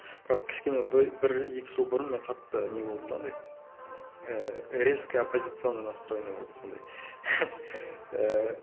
бірақ кішкене бір екі жыл бұрын мен қатты не болдым да андай ііі резко оппозиционный настройно болдым сондай ііі